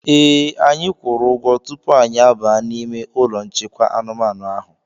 Ee, anyị kwuru ụgwọ tupu anyị abaa n'ime ụlọ nchekwa anumanu ahụ.